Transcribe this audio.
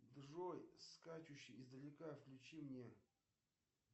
джой скачущий издалека включи мне